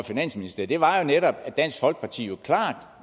finansministeriet var jo netop at dansk folkeparti